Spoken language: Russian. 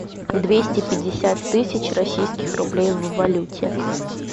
двести пятьдесят тысяч российских рублей в валюте